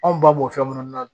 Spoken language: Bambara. Anw ba b'o fɛn munnu na